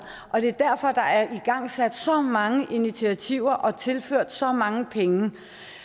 og det er derfor at der er igangsat så mange initiativer og tilført området så mange penge